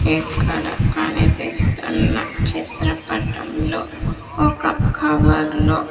ఇక్కడ కనిపిస్తున్న చిత్రపటంలో ఒక కవర్లో --